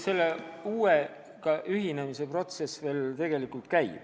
Selle uue konventsiooniga ühinemise protsess veel tegelikult käib.